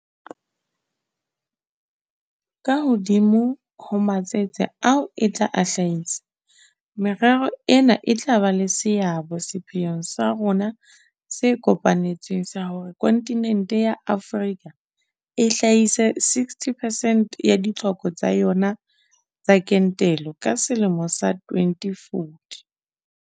Ka hodimo ho matsetse ao e tla a hlahisa, merero ena e tla ba le seabo sepheong sa rona se kopa netsweng sa hore kontinente ya Afrika e hlahise 60 percent ya ditlhoko tsa yona tsa kentelo ka selemo sa 2040.